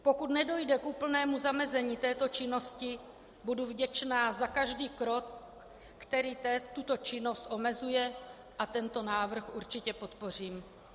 Pokud nedojde k úplnému zamezení této činnosti, budu vděčná za každý krok, který tuto činnost omezuje, a tento návrh určitě podpořím.